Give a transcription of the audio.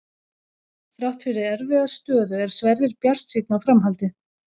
Þrátt fyrir erfiða stöðu er Sverrir bjartsýnn á framhaldið.